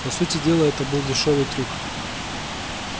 по сути дела это был дешёвый трюк